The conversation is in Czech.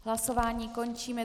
Hlasování končím.